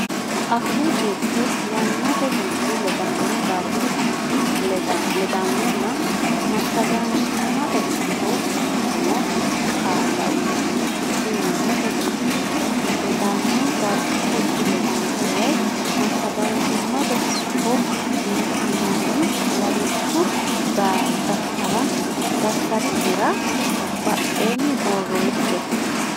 Afuu Jirte Yannate Gurdi ledaano Dargu Gurdi ledaanonna Massagaanchimmate Sufo shiqqino qaalla uytanno fiche yannate gurdi ledaano dargu gurdi ledaano woy massagaanchimmate sufo yitinanni lawishshu daftari nera baddine borreesse.